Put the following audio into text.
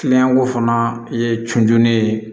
fana ye cunjun ye